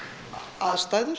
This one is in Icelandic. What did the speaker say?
aðstæður